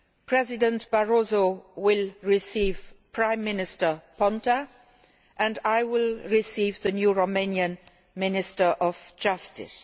President Barroso will receive Prime Minister Ponta and I will receive the new Romanian Minister of Justice.